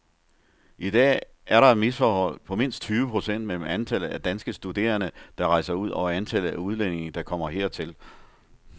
I dag er der et misforhold på mindst tyve procent mellem antallet af danske studerende, der rejser ud og antallet af udlændinge, der kommer hertil.